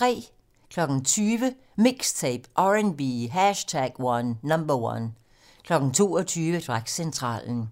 20:00: MIXTAPE - R&B #1 22:00: Dragcentralen